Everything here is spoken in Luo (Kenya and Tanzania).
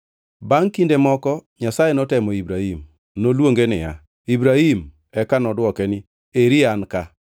Bangʼ kinde moko Nyasaye notemo Ibrahim. Noluonge niya, “Ibrahim!” Eka nodwoke niya, “Eri an ka.”